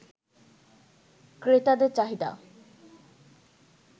ক্রেতাদের চাহিদা